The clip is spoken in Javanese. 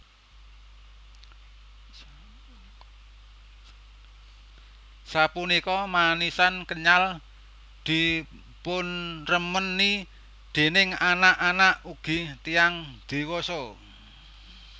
Sapunika manisan kenyal dipunremeni déning anak anak ugi tiyang diwasa